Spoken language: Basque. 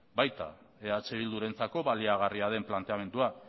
baita eh bildurentzako baliagarria den planteamendua